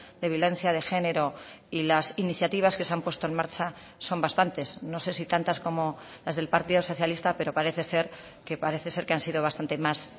de violencia de género y las iniciativas que se han puesto en marcha son bastantes no sé si tantas como las del partido socialista pero parece ser que parece ser que han sido bastante más